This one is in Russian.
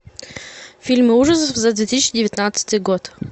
фильмы ужасов за две тысячи девятнадцатый год